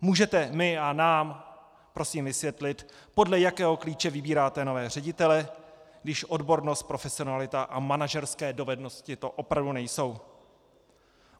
Můžete mi a nám prosím vysvětlit, podle jakého klíče vybíráte nové ředitele, když odbornost, profesionalita a manažerské dovednosti to opravdu nejsou?